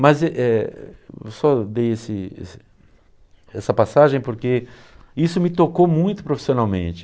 Mas e eh eu só dei esse esse essa passagem porque isso me tocou muito profissionalmente.